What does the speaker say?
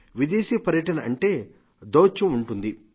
విదేశీ పర్యటన అంటే దౌత్యం ఉంటుంది